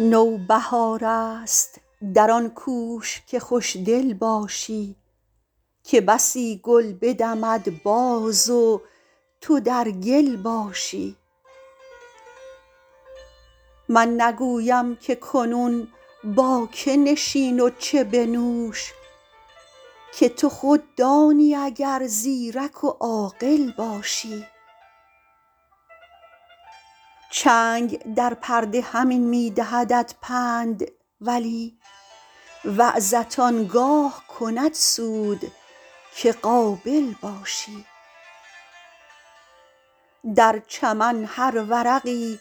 نوبهار است در آن کوش که خوش دل باشی که بسی گل بدمد باز و تو در گل باشی من نگویم که کنون با که نشین و چه بنوش که تو خود دانی اگر زیرک و عاقل باشی چنگ در پرده همین می دهدت پند ولی وعظت آن گاه کند سود که قابل باشی در چمن هر ورقی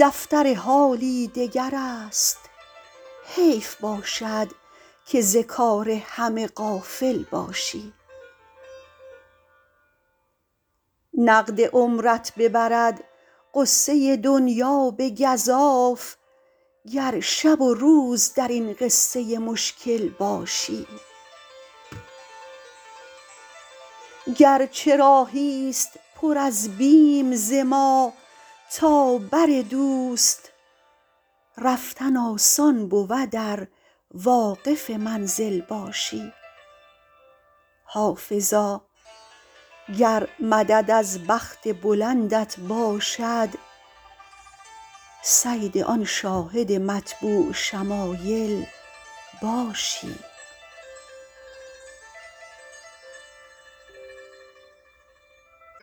دفتر حالی دگر است حیف باشد که ز کار همه غافل باشی نقد عمرت ببرد غصه دنیا به گزاف گر شب و روز در این قصه مشکل باشی گر چه راهی ست پر از بیم ز ما تا بر دوست رفتن آسان بود ار واقف منزل باشی حافظا گر مدد از بخت بلندت باشد صید آن شاهد مطبوع شمایل باشی